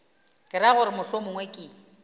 ke ra gore mohlomongwe ke